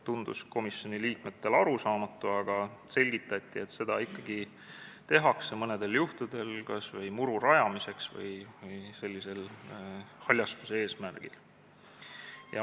Komisjoni liikmetele tundus see arusaamatu, aga selgitati, et seda ikkagi mõnedel juhtudel tehakse, kas või muru rajamiseks või haljastuse eesmärgil.